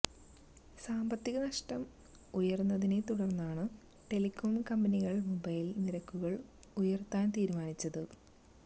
സാമ്പത്തിക നഷ്ടം ഉയര്ന്നതിനെ തുടര്ന്നാണ് ടെലികോം കമ്പനികള് മൊബൈല് നിരക്കുകള് ഉയര്ത്താന് തീരുമാനിച്ചത്